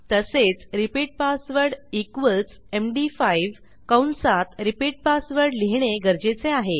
तसेच repeat password equals MD five कंसात repeat password लिहिणे गरजेचे आहे